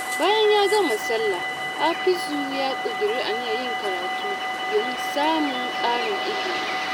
Bayan ya gama sallah, Hafizu ya ƙudiri aniyar yin karatu domin samun ƙarin ilimi.